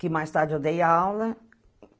Que mais tarde eu dei aula.